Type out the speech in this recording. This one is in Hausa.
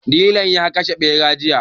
Dilan ya kashe ɓera jiya.